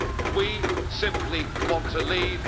We simply want to leave.